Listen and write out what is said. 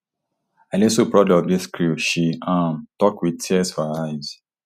i dey so proud of dis crew she um tok wit tears for her eyes